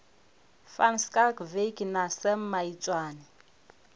van schalkwyk na sam maitswane